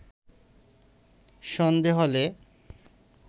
সন্ধে হলে